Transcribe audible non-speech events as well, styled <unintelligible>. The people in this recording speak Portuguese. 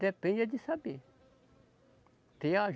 Depende é de saber. <unintelligible>